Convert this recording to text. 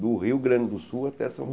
Do Rio Grande do Sul até São